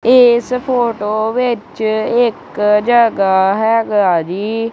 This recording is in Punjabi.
ਏਸ ਫ਼ੋਟੋ ਵਿੱਚ ਇੱਕ ਜਗਾਹ ਹੈਗਾ ਜੀ।